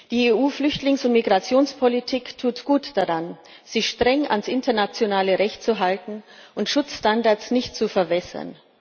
Die EU Flüchtlings und Migrationspolitik tut gut daran, sich streng an das internationale Recht zu halten und Schutzstandards nicht zu verwässern.